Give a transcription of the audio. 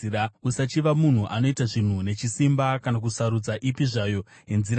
Usachiva munhu anoita zvinhu nechisimba, kana kusarudza ipi zvayo yenzira dzake,